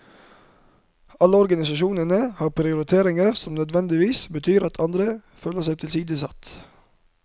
Alle organisasjonene har prioriteringer som nødvendigvis betyr at andre føler seg tilsidesatt.